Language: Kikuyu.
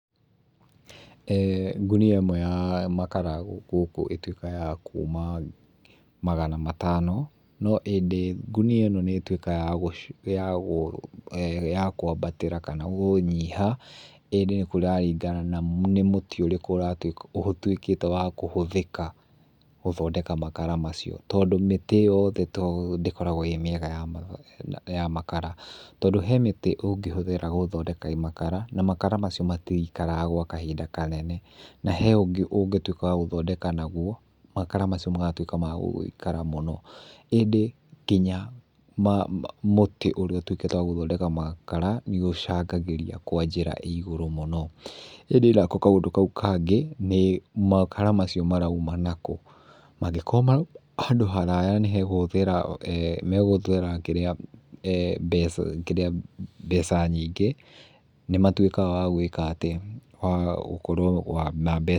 Ngũnia ĩmwe ya makara gũkũ ĩtuĩkaga ya kuma magana matano, no ĩndĩ ngũnia ĩno nĩ ĩtuĩkaga ya kũambatĩra kana ya gũnyiha ĩndĩ kũraringana na nĩ mũtĩ ũrĩkũ ũtuĩkĩte wa kũhũthĩka gũthondeka makara macio. Tondũ mĩtĩ yothe ndĩkoragwo ĩĩ mĩega ya makara. Tondũ he mĩti ũngĩhũthĩra gũthondeka makara na makara macio matikaraga gwa kahinda kanene. Na he ũngĩ ũngĩtuĩka wa gũthondeka naguo makara macio magatuĩka ma gũgĩikara mũno. ĩndĩ nginya mũtĩ ũrĩa ũtuĩkĩte wa gũthondeka makara nĩ ũcangagĩrĩa kwa njĩra ĩĩ igũrũ mũno. ĩndĩ nako kaũndũ kau kangĩ nĩ makara macio maroima naku? Mangĩkorwo marauma handũ haraya nĩ hegũhũthĩra, megũhũthĩra, kĩrĩa mbeca, kĩrĩa mbeca nyingĩ, nĩ matuĩkaga wa gwĩka atĩ wa gũkorwo ma mbeca.